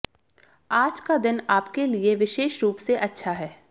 आज का दिन आपके लिए विशेष रूप से अच्छा है